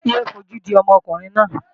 Yé é fojú di ọmọkùnrin náà!